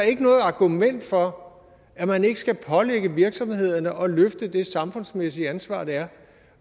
ikke noget argument for at man ikke skal pålægge virksomhederne at løfte det samfundsmæssige ansvar det er